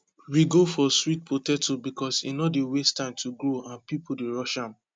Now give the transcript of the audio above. we go for sweet potato because e no dey waste time to grow and people dey rush am